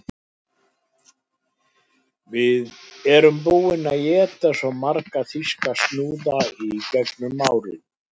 Við erum búin að éta svo marga þýska snúða í gegnum árin